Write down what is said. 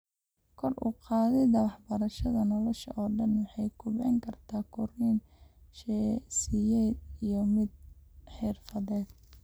Kor u qaadida waxbarashada nolosha oo dhan waxay kobcin kartaa korriin shaqsiyeed iyo mid xirfadeed.